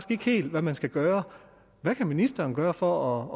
ikke helt hvad man skal gøre hvad kan ministeren gøre for